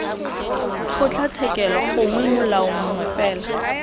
kgotlatshekelo gongwe molao mongwe fela